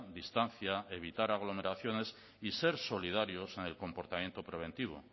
distancia evitar aglomeraciones y ser solidarios en el comportamiento preventivo